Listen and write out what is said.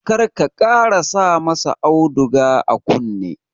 Kar ka ƙara sa ma sa auduga a kunne!